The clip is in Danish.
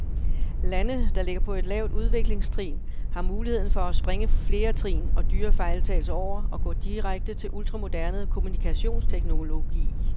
Lande, der ligger på et lavt udviklingstrin, har muligheden for at springe flere trin og dyre fejltagelser over og gå direkte til ultramoderne kommunikationsteknologi.